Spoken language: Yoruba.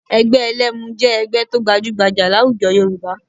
Ẹgbẹ́ ẹlẹ́mu jẹ́ ẹgbẹ́ tó gbajúgbajà láwùjọ Yorùbá